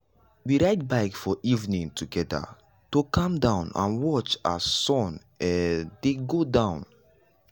we ride bike for evening togada to calm down and watch as sun um dey go down. um